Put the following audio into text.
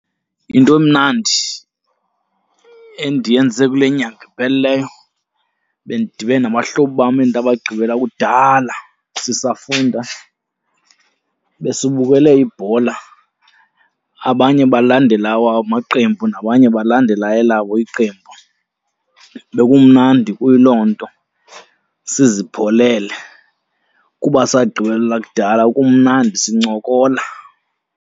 Into emnandi endiyenze kule nyanga iphelileyo bendidibene nabahlobo bam endabagqibela kudala sisafunda, besibukele ibhola. Abanye balandela awabo amaqembu nabanye balandela elabo iqembu. Bekumnandi kuyiloo nto sizipholele kuba sagqibelana kudala, kumnandi sincokola.